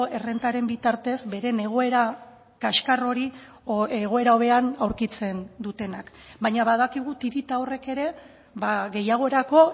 errentaren bitartez beren egoera kaxkar hori egoera hobean aurkitzen dutenak baina badakigu tirita horrek ere gehiagorako